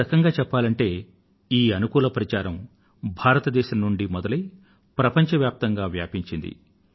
ఒక రకంగా చెప్పాలంటే ఈ అనుకూల ప్రచారం భారతదేశం నుండి మొదలై ప్రపంచవ్యాప్తంగా వ్యాపించింది